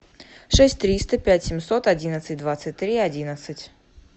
шесть триста пять семьсот одинадцать двадцать три одиннадцать